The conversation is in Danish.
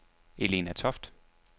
Elna Toft